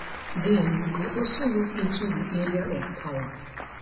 den we go also look into di area of power